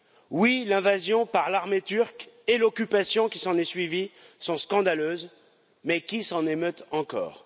Oui, l'invasion par l'armée turque et l'occupation qui s'en est suivie sont scandaleuses, mais qui s'en émeut encore?